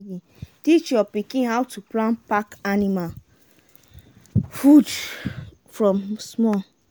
teach your pikin how to plan and pack anima food from small.